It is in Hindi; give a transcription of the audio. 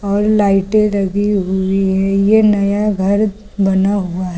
और लाइटे लगी हुई है ये नया घर बना हुआ है।